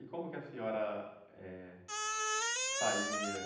E como que a senhora, eh, saía?